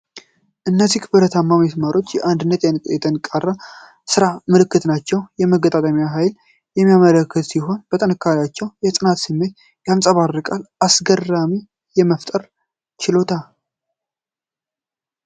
እነዚህ ብረታማ ምስማሮች የአንድነትና የጠንካራ ሥራ ምልክቶች ናቸው። የመገጣጠም ኃይልን የሚያመለክቱ ሲሆን፣ ጥንካሬያቸው የጽናትን ስሜት ያንጸባርቃል። አስገራሚ የመፍጠር ችሎታ !